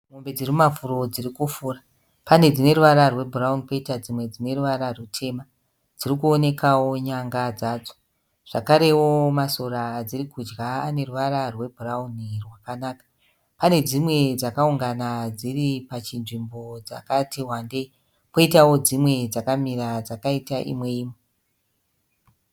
Mombe dzikumafuro dziri kufura. Pane dzine ruvara rwebhurauni koita dzimwe dzine ruvara rutema. Dzirikuonekawo nyanga dzadzo zvakarewo masora adziri kudya ane ruvara rwebhurauni rwakanaka. Pane dzimwe dzakaungana dziri pachinzvimbo dzakati wandei koitawo dzimwe dzakamira dzakaita imwe imwe